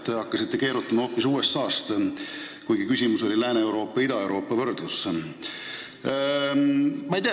Te hakkasite keerutama hoopis USA teemal, kuigi küsimus oli Lääne-Euroopa ja Ida-Euroopa võrdluse kohta.